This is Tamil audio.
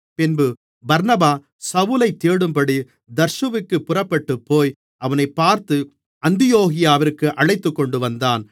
பின்பு பர்னபா சவுலைத் தேடும்படி தர்சுவிற்குப் புறப்பட்டுப்போய் அவனைப் பார்த்து அந்தியோகியாவிற்கு அழைத்துக்கொண்டுவந்தான்